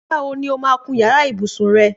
Nígbà wo ni ó máa kun yàrá ibùsùn rẹ?